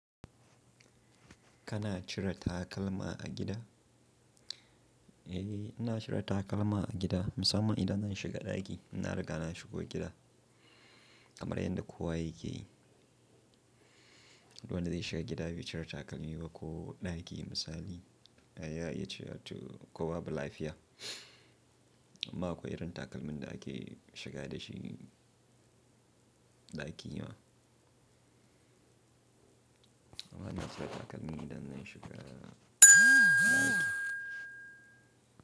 Kana cire takalma a gida? Eh, ina cire takalma a gida. Musamman idan na shiga ɗaki, ina riga na shigo gida kamar yanda kowa yake yi. Duk wanda zai shiga gida bai cire takalmi ba ko ɗaki misali, ya iya cewa to ko babu lafiya. Amma akwai irin takalmin ɗaki shiga da shi ɗaki ma. Amma ina cire takalmi idan na shiga ɗaki.